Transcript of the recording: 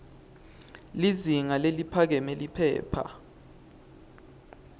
lizinga leliphakeme liphepha